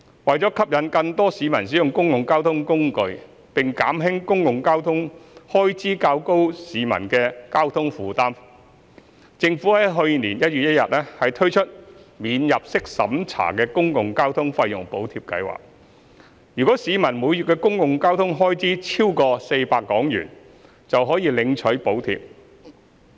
為吸引更多市民使用公共交通工具，並減輕公共交通開支較高的市民的交通費負擔，政府於去年1月1日推出免入息審查的公共交通費用補貼計劃，若市民每月的公共交通開支超出400元，便可領取補貼。